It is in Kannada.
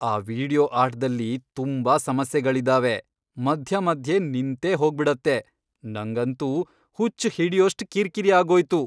ಆ ವೀಡಿಯೊ ಆಟ್ದಲ್ಲಿ ತುಂಬಾ ಸಮಸ್ಯೆಗಳಿದಾವೆ, ಮಧ್ಯ ಮಧ್ಯೆ ನಿಂತೇಹೋಗ್ಬಿಡತ್ತೆ, ನಂಗಂತೂ ಹುಚ್ಚ್ ಹಿಡ್ಯೋಷ್ಟ್ ಕಿರ್ಕಿರಿ ಆಗೋಯ್ತು.